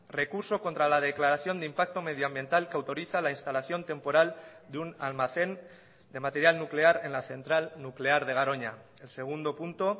recurso contra la declaración de impacto medioambiental que autoriza la instalación temporal de un almacén de material nuclear en la central nuclear de garoña el segundo punto